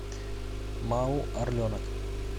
мау орленок